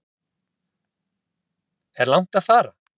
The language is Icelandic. Er langt að fara?